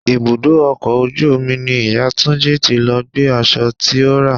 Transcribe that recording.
Ibùdó ọkọ̀ ojú omi ni ìyá Túnjí tí lọ gbé aṣọ tí ó rà.